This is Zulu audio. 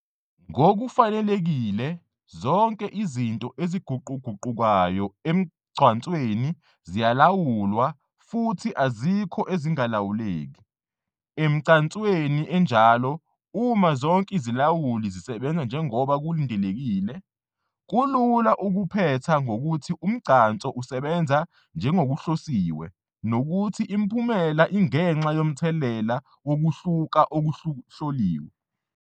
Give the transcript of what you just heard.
Ngokufanelekile, zonke izinto eziguquguqukayo emgcansweni ziyalawulwa, zibalwa izilinganiso zokulawula, futhi azikho ezingalawuleki. Emigcanswei enjalo, uma zonke izilawuli zisebenza njengoba kulindelekile, kulula ukuphetha ngokuthi umgcanso usebenza njengokuhlosiwe, nokuthi imiphumela ingenxa yomthelela wokuhluka okuhloliwe.